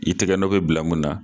I tɛgɛ nɔ bɛ bila mun na